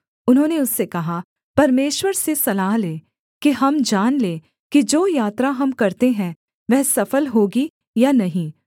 उन्होंने उससे कहा परमेश्वर से सलाह ले कि हम जान लें कि जो यात्रा हम करते हैं वह सफल होगी या नहीं